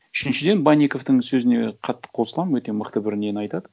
үшіншіден банниковтың сөзіне қатты қосыламын өте мықты бір нені айтады